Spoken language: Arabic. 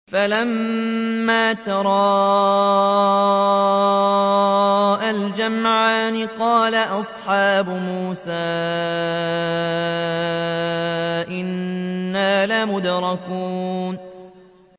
فَلَمَّا تَرَاءَى الْجَمْعَانِ قَالَ أَصْحَابُ مُوسَىٰ إِنَّا لَمُدْرَكُونَ